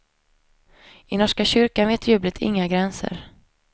I norska kyrkan vet jublet inga gränser.